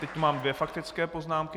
Teď mám dvě faktické poznámky.